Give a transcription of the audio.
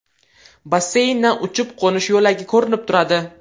Basseyndan uchib-qo‘nish yo‘lagi ko‘rinib turadi.